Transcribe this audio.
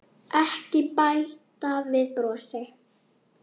Ekki bæta við brosi.